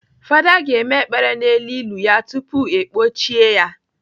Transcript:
Fada ga-eme ekpere n'elu ili ya tupu ekpọchie ya.